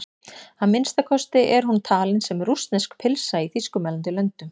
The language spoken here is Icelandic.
Að minnsta kosti er hún talin sem rússnesk pylsa í þýskumælandi löndum.